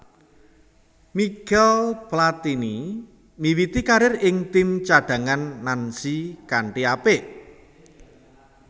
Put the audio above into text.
Michel Platini miwiti karir ing tim cadhangan Nancy kanthi apik